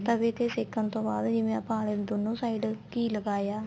ਤਵੇ ਤੇ ਸੇਕਣ ਤੋਂ ਬਾਅਦ ਜਿਵੇਂ ਆਪਾਂ ਆਲੇ ਦੇ ਦੋਨੋ side ਘੀ ਲਗਾਇਆ